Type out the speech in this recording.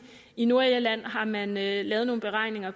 i nordirland har man lavet nogle beregninger